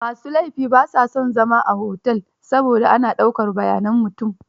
Ma su laifi ba sa son zama a otel saboda ana dauakr bayanan mutum.